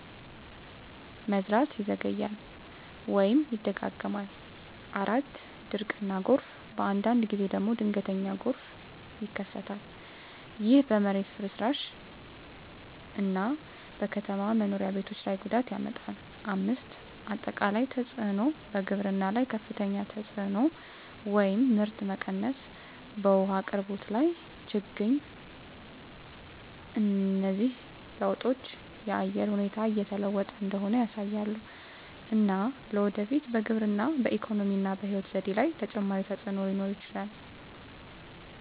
መዝራት ይዘገያል ወይም ይደጋገማል። 4. ድርቅ እና ጎርፍ በአንዳንድ ጊዜ ደግሞ ድንገተኛ ጎርፍ ይከሰታል። ይህ በመሬት ፍርስራሽ እና በከተማ መኖሪያ ቤቶች ላይ ጉዳት ያመጣል። 5. አጠቃላይ ተፅዕኖ በግብርና ላይ ከፍተኛ ተፅዕኖ (ምርት መቀነስ) በውሃ አቅርቦት ላይ ችግኝ እነዚህ ለውጦች የአየር ሁኔታ እየተለወጠ እንደሆነ ያሳያሉ፣ እና ለወደፊት በግብርና፣ በኢኮኖሚ እና በሕይወት ዘዴ ላይ ተጨማሪ ተፅዕኖ ሊኖር ይችላል።